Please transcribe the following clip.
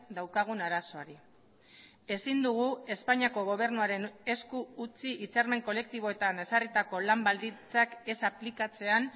daukagun arazoari ezin dugu espainiako gobernuaren esku utzi hitzarmen kolektiboetan ezarritako lan baldintzak ez aplikatzean